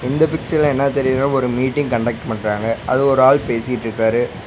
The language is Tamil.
இந்த பிச்சர்ல என்ன தெரிதுனா ஒரு மீட்டிங் கண்டக்ட் பண்றாங்க அது ஒரு ஆள் பேசிட்ருக்காரு.